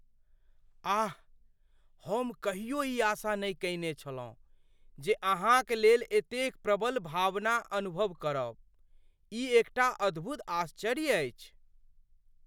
आह! हम कहियो ई आशा नहि कयने छलहुँ जे अहाँक लेल एतेक प्रबल भावना अनुभव करब। ई एकटा अद्भुत आश्चर्य अछि।